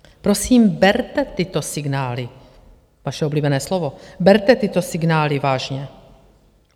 Prosím, berte tyto signály - vaše oblíbené slovo - berte tyto signály vážně.